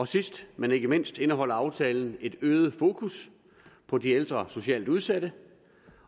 sidst men ikke mindst indeholder aftalen et øget fokus på de ældre socialt udsatte